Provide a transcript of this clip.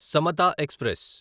Samata express